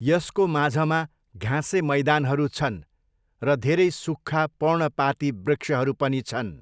यसको माझमा घाँसे मैदानहरू छन् र धेरै सुक्खा पर्णपाती वृक्षहरू पनि छन्।